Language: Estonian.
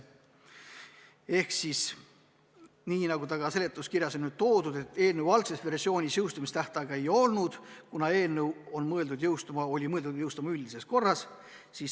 Ehk siis, nagu ka seletuskirjas on toodud, eelnõu algses versioonis jõustumistähtaega ei olnud, kuna seadus on mõeldud jõustuma üldises korras.